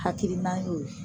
Hakilina y'o ye